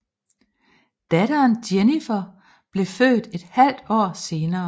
Datteren Jennifer blev født et halvt år senere